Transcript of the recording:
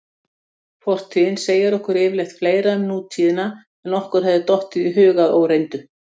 Fortíðin segir okkur yfirleitt fleira um nútíðina en okkur hefði dottið í hug að óreyndu.